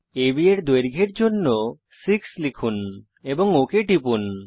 আব এর দৈর্ঘ্যের জন্য 6 লিখুন এবং ওক টিপুন